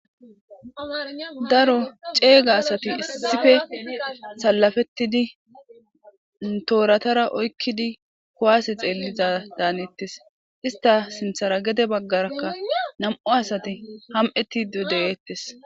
daro ceega asati issife salafettidi tooratara oykkidi kowase xeelliza daanettes ista sinthara gede baggarakka nam7u asati ham7eti de7eettes